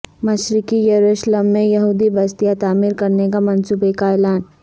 مشرقی یروشلم میں یہودی بستیاں تعمیر کرنے کا منصوبہ کا اعلان